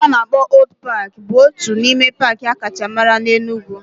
Paaki a na-akpọ Old paaki bụ otu n'ime paaki akacha mara na Enugwu